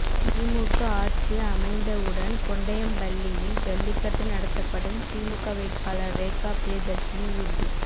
திமுக ஆட்சி அமைந்த உடன் கொண்டையம்பள்ளியில் ஜல்லிக்கட்டு நடத்தப்படும் திமுக வேட்பாளர் ரேகா பிரியதர்ஷினி உறுதி